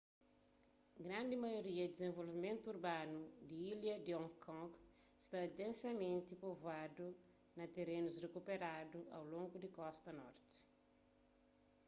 grandi maioria di dizenvolvimentu urbanu di ilha di hong kong sta densamenti povoadu na terenus rikuperadu au longu di kosta norti